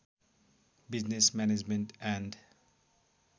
business management and